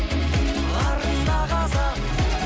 арым да қазақ